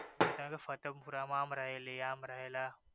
કેતાતા ને ફતેનપુરા માં આમ રહેલી આમ રહેલા.